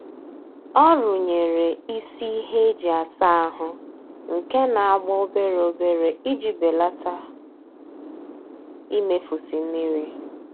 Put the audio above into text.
Ọ runyere isi ihe eji asa ahụ nke na-agba obere obere iji belata imefusi mmiri